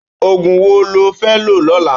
Ógún wó ló fè ló lólã?